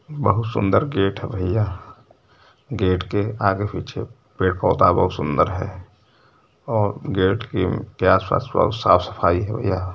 बहुत सुन्दर गेट ह भइया गेट के आगे पीछे पेड़ पौधा बहुत सूंदर है और गेट के आस पास बहुत साफ़ सफाई है भइया।